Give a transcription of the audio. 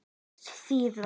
Máski síðar.